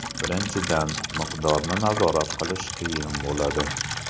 Birinchidan, miqdorni nazorat qilish qiyin bo‘ladi.